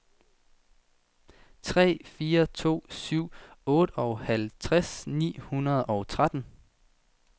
tre fire to syv otteoghalvtreds ni hundrede og tretten